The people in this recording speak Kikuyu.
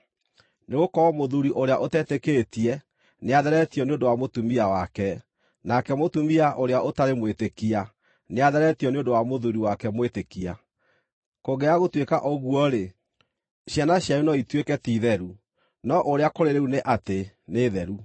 Nĩgũkorwo mũthuuri ũrĩa ũtetĩkĩtie nĩatheretio nĩ ũndũ wa mũtumia wake, nake mũtumia ũrĩa ũtarĩ mwĩtĩkia nĩatheretio nĩ ũndũ wa mũthuuri wake mwĩtĩkia. Kũngĩaga gũtuĩka ũguo-rĩ, ciana cianyu no ituĩke ti theru, no ũrĩa kũrĩ rĩu nĩ atĩ nĩ theru.